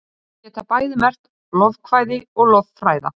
Þau geta bæði merkt lofkvæði og lofræða.